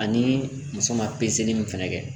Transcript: Ani muso ma pezeli min fɛnɛ kɛ